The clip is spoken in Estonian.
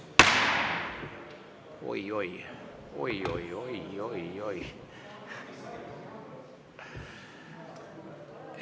Oi-oi-oi-oi!